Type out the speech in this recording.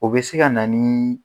O be se ka na nii